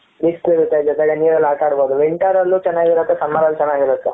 ಬಿಸಿಲು ಇರುತ್ತೆ ಜೊತೆಗೆ ನೀರಲ್ಲಿ ಆಟ ಆಡಬಹುದು winter ಅಲ್ಲೂ ಚೆನ್ನಾಗಿರುತ್ತೆ summer ಅಲ್ಲೂ ಚೆನ್ನಾಗಿರುತ್ತೆ